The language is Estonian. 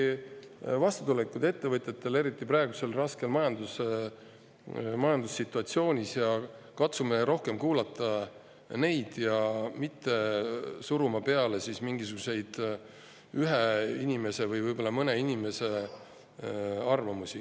Nii et oleme ikkagi vastutulelikud ettevõtjate suhtes, eriti praeguses raskes majandussituatsioonis, katsume rohkem kuulata neid ja mitte suruda peale mingisuguseid ühe inimese või mõne inimese arvamusi.